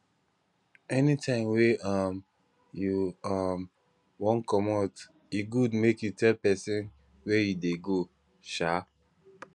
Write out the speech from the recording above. anytime wey um you um wan commot e good make you tell pesin where you dey go um